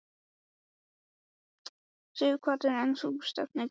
Sighvatur: En þú stefnir kannski að því?